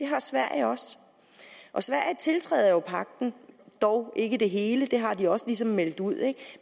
har sverige også sverige tiltræder jo europagten dog ikke det hele det har de også ligesom meldt ud